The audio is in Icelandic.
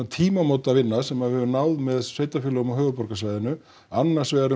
tímamótavinna sem við höfum náð með sveitarfélögum á höfuðborgarsvæðinu annars vegar